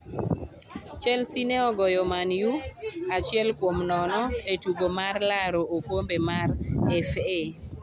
Chelsea ne ogoyo Man-u achiel kuom nono e tugo mar laro okombe mar FA